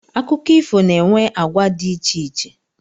Akụkọ ifo na-enwe agwa di icheiche